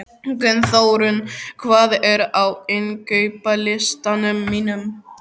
Gunnþórunn, hvað er á innkaupalistanum mínum?